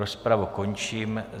Rozpravu končím.